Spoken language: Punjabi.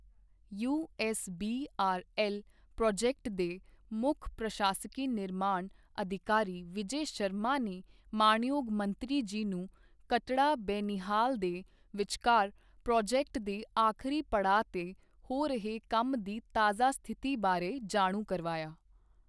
ਯੂਐੱਸਬੀਆਰਐੱਲ ਪ੍ਰੋਜੈਕਟ ਦੇ ਮੁੱਖ ਪ੍ਰਸ਼ਾਸਕੀ ਨਿਰਮਾਣ ਅਧਿਕਾਰੀ ਵਿਜੈ ਸ਼ਰਮਾ ਨੇ ਮਾਣਯੋਗ ਮੰਤਰੀ ਜੀ ਨੂੰ ਕਟੜਾ ਬਨਿਹਾਲ ਦੇ ਵਿਚਕਾਰ ਪ੍ਰੋਜੈਕਟ ਦੇ ਆਖਰੀ ਪੜਾਅ ਤੇ ਹੋ ਰਹੇ ਕੰਮ ਦੀ ਤਾਜ਼ਾ ਸਥਿਤੀ ਬਾਰੇ ਜਾਣੂ ਕਰਵਾਇਆ।